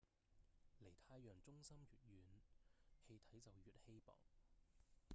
離太陽中心越遠氣體就越稀薄